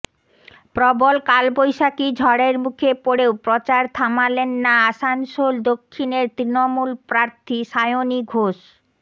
প্রবল কালবৈশাখী ঝড়ের মুখে পড়েও প্রচার থামালেন না আসানসোল দক্ষিণের তৃণমূল প্রার্থী সায়নী ঘোষ